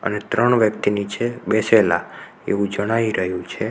ત્રણ વ્યક્તિ નીચે બેસેલા એવું જણાઈ રહ્યું છે.